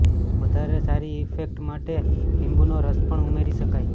વધારે સારી ઇફેક્ટ માટે લીંબુનો રસ પણ ઉમેરી શકાય